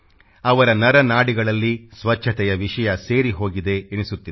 ಅವರ ನರನಾಡಿಗಳಲ್ಲಿ ಸ್ಚಚ್ಛತೆಯ ವಿಷಯ ಸೇರಿಹೊಗಿದೆ ಎನಿಸುತ್ತಿದೆ